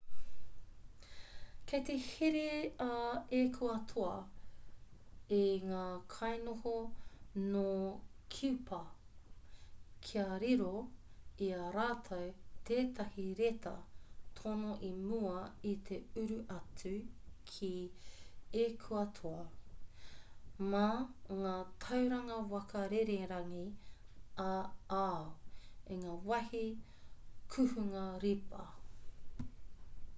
kei te here a ekuatoa i ngā kainoho nō kiupa kia riro i a rātou tētahi reta tono i mua i te uru atu ki ekuatoa mā ngā tauranga waka rererangi ā-ao i ngā wāhi kuhunga ripa